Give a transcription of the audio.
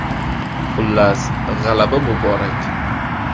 Xullas, g‘alaba muborak!